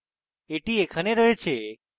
এটি এখানে রয়েছে